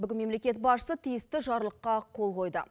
бүгін мемлекет басшысы тиісті жарлыққа қол қойды